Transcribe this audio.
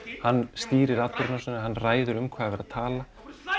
hann stýrir atburðarásinni hann ræður um hvað er verið að tala